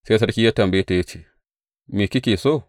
Sai sarki ya tambaye ta ya ce, Me kike so?